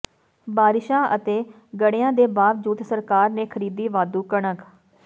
ਬਾਰਿਸ਼ਾਂ ਅਤੇ ਗਡ਼ਿਆਂ ਦੇ ਬਾਵਜੂਦ ਸਰਕਾਰ ਨੇ ਖ਼ਰੀਦੀ ਵਾਧੂ ਕਣਕ